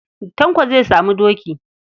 Tanko zai sami aboki.